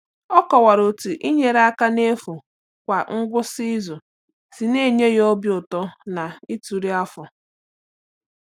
Ọ kọwara otú inyere aka n’efu kwa ngwụsị izu si na-enye ya obi ụtọ na ituru afọ.